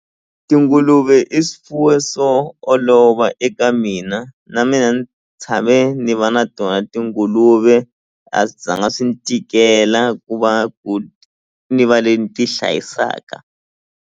Tinguluve i swifuwo swo olova eka mina na mina ni tshame ni va na tona tinguluve a swi zanga swi ni tikela ku va ku ni va le ni ti hlayisaka.